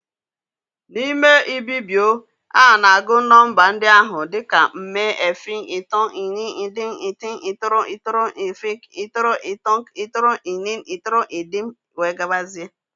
N'ime Ibibio, a na-agụ nọmba ndị ahụ dị ka mme, efịk, itòk, ínìn, ídìm, ítìt, ítòrò, ítòrò-ɛfìk, ítòrò-itòk, ítòrò-ínin, ítòrò-ídìm, etc.